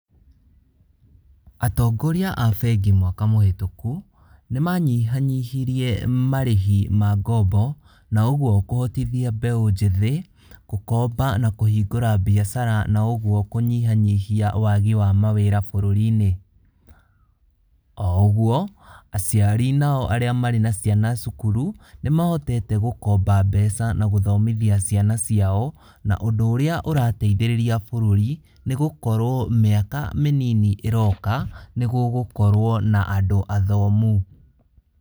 Atongoria a bengĩ mwaka mũhetũku, nĩmanyihanyihirie marĩhi ma ngombo, na ũguo kũhotithia mbeũ njĩthĩ, gũkomba na kũhingũra biacara na ũguo kũnyihanyihia wagi wa mawĩra bũrũri-inĩ. Oũguo, aciari nao arĩa marĩ na ciana cukuru, nĩmahotete gũkomba mbeca na gũthomithia ciana ciao, na ũndũ ũrĩa ũrateithĩrĩria bũrũri nĩgũkorwo mĩaka mĩnini ĩroka, nĩgũgũkorwo na andũ athomu.